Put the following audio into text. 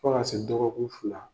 Fo ka se dɔgɔkun fila